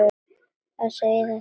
Að segja þetta við hana.